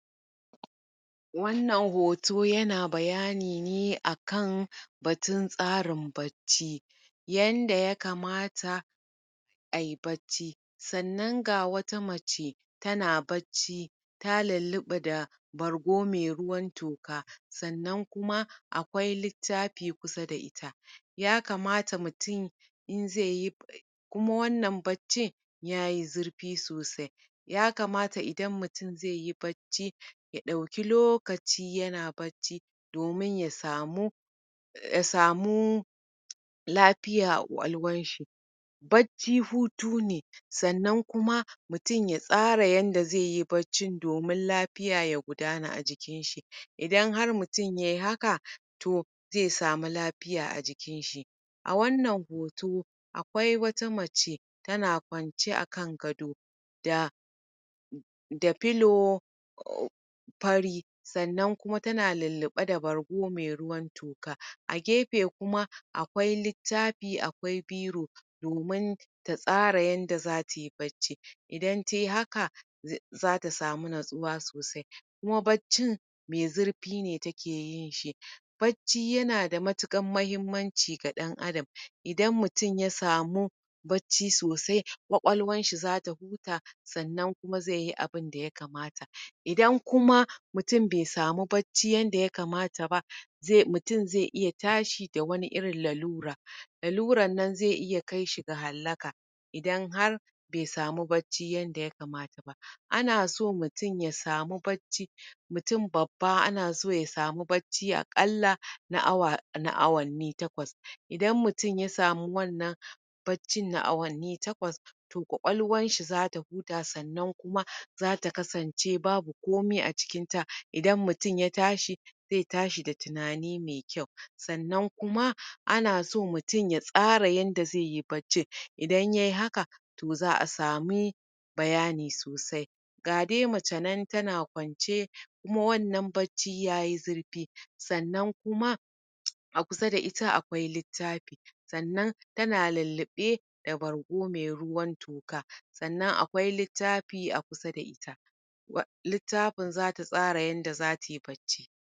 Wannan hoto yana bayani ne a kan batun tsarin bacci yanda ya kamata ai bacci sannan ga wata mace tana bacci ta lulluɓa da gargo mai ruwan toka sannan akwai littafi kusa da ita ya kamata mutum in zai yi kuma wannan baccin ya yi zurfi sosai ya kamata idan mutum zai yi bacci ya ɗauki lokaci yana bacci domin ya samu ya samu lafiya a ƙwaƙwalwanshi. Bacci hutu ne sannan kuma mutum ya tsara yadda zai yi baccin domin lafiya ya gudana a jikinshi. Idan ya yi haka to zai samu lafiya a jikinshi a wannan hoto akwai wata mace tana kwance a kan gado da da filo fari sannan kuma ta na lulluɓe da bargo mai ruwan toka a gefe kuma akwai littafi akwai biro domin ta tasra yadda za tai bacci idan tai haka za ta samu natsuwa sosai kuma baccin mai zurfi ne take yin shi. Bacci yana da matuƙar amfani ga ɗan'adam ida mutum ya samu bacci sosai ƙwaƙwalwanshi za ta huta sannan kuma zai yi abun da ya kamata idan kuma mutum bai samu bacci yadda ya kamata ba, zai iya tashi da wata irin lalura laluran nan zai iya kai shi ga halaka idan har bai samu bacci yadda ya kamata ba. ana so mutum ya samu bacci mutum babba akƙalla na awanni takwas idan mutum ya samu wannan baccin na awanni takwas ƙwaƙwalwanshi za ta huta sannan kuma za ta kasance babu komai a cikinta idan mutum ya tashi zai ta shi da tunani mai kyau sannan kuma an so mutum ya tsara yadda zai yi baccin idana yai haka to za a samu bayani sosai ga dai mace nan tana kwance sannan wannan baccin ya yi zurfi a gefenta ga littafi sannan tana lulluɓe da bargo mai ruwan toka sannan akwai littafi a kusa da ita wa littafin za ta tsara yadda za tai bacci.